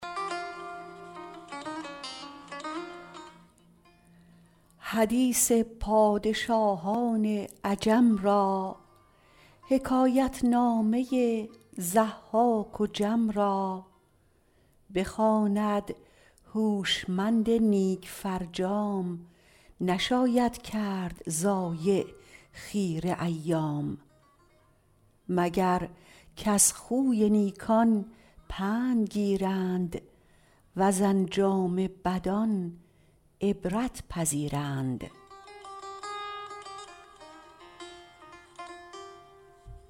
حدیث پادشاهان عجم را حکایت نامه ضحاک و جم را بخواند هوشمند نیک فرجام نشاید کرد ضایع خیره ایام مگر کز خوی نیکان پند گیرند وز انجام بدان عبرت پذیرند